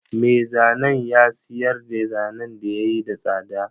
Me zanen ya siyarda zanen da yayi da tsada.